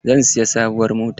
Zan siyi sabuwar mota.